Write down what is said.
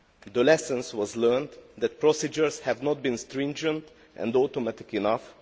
The lesson was learned that procedures have not been stringent and automatic enough.